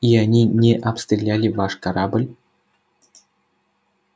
и они не обстреляли ваш корабль